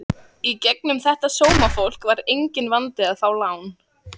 Í gegnum þetta sómafólk var enginn vandi að fá lán.